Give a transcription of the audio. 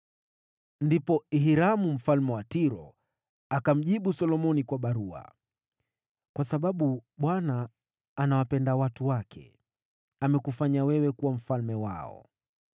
Ndipo Hiramu mfalme wa Tiro akamjibu Solomoni kwa barua: “Kwa sababu Bwana anawapenda watu wake, amekufanya wewe kuwa mfalme wao.”